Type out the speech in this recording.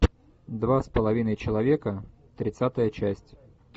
два с половиной человека тридцатая часть